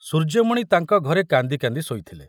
ସୂର୍ଯ୍ୟମଣି ତାଙ୍କ ଘରେ କାନ୍ଦି କାନ୍ଦି ଶୋଇଥିଲେ।